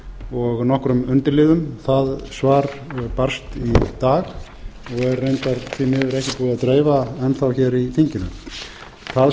og nokkrum undirliðum það svar barst í dag er reyndar því miður ekki búið að dreifa enn hér í